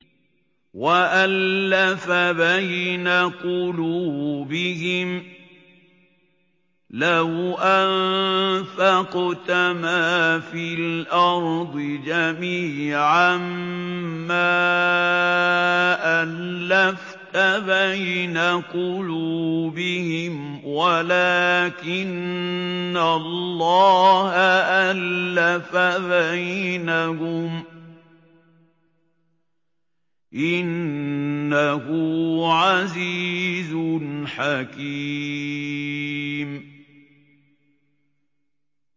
وَأَلَّفَ بَيْنَ قُلُوبِهِمْ ۚ لَوْ أَنفَقْتَ مَا فِي الْأَرْضِ جَمِيعًا مَّا أَلَّفْتَ بَيْنَ قُلُوبِهِمْ وَلَٰكِنَّ اللَّهَ أَلَّفَ بَيْنَهُمْ ۚ إِنَّهُ عَزِيزٌ حَكِيمٌ